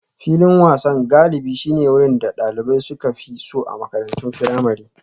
Filin wasan galibi shine wurin da dalibai suka fi so a makarantun firamare.